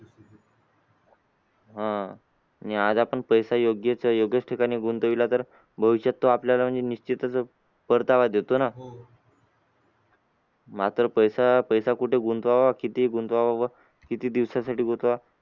आह आणि आज आपण पैसा योग्य योग्य ठिकाणी गुंतवला तर भविष्यात तो आपल्याला म्हणजे निश्चितच परतावा देतो ना मात्र पैसा पैसा कुठे गुंतवावा किती गुंतवावा व किती दिवसासाठी गुंतवावा